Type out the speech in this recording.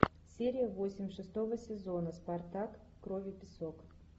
серия восемь шестого сезона спартак кровь и песок